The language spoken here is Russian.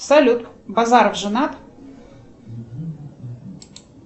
салют базаров женат